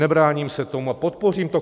Nebráním se tomu a podpořím to.